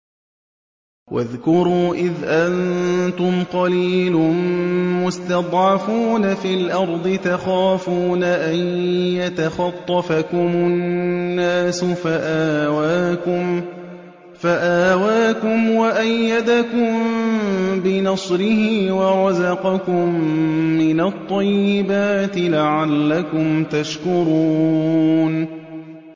وَاذْكُرُوا إِذْ أَنتُمْ قَلِيلٌ مُّسْتَضْعَفُونَ فِي الْأَرْضِ تَخَافُونَ أَن يَتَخَطَّفَكُمُ النَّاسُ فَآوَاكُمْ وَأَيَّدَكُم بِنَصْرِهِ وَرَزَقَكُم مِّنَ الطَّيِّبَاتِ لَعَلَّكُمْ تَشْكُرُونَ